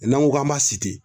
N'an ko k'an b'a site